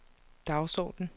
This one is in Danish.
dagsorden